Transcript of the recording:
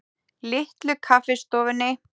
Litlu Kaffistofunni